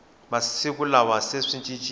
masiku lawa se swi cincile